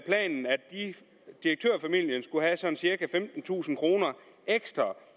direktørfamilien skulle have sådan cirka femtentusind kroner ekstra